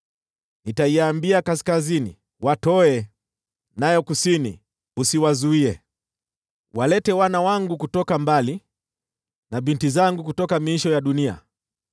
Nitaiambia kaskazini, ‘Watoe!’ nayo kusini, ‘Usiwazuie.’ Walete wana wangu kutoka mbali, na binti zangu kutoka miisho ya dunia: